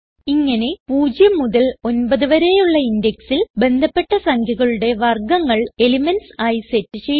ഇങ്ങനെ 0 മുതൽ 9 വരെയുള്ള indexൽ ബന്ധപ്പെട്ട സംഖ്യകളുടെ വർഗങ്ങൾ എലിമെന്റ്സ് ആയി സെറ്റ് ചെയ്യുന്നു